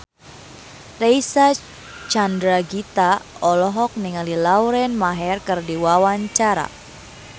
Reysa Chandragitta olohok ningali Lauren Maher keur diwawancara